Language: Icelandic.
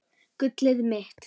Gullið mitt!